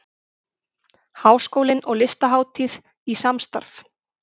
Háskólinn og Listahátíð í samstarf